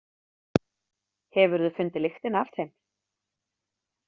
Hefurðu fundið lyktina af þeim?